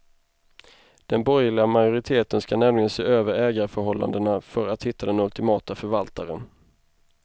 Den borgerliga majoriteten ska nämligen se över ägarförhållandena för att hitta den ultimata förvaltaren.